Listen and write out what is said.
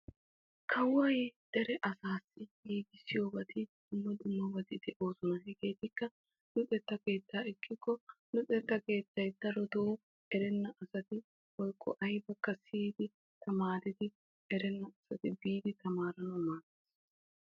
Kawoy dere asassi giigissiyo dumma dummabatti de'osonna hegeetikka luxetta keetta darotto erenabatta tamaariddi eranawu maades.